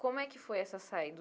Como é que foi essa saída?